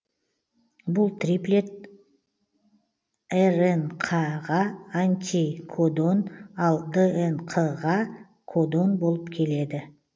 бұл триплет рнқ ға антикодон ал днқ ға кодон болып келеді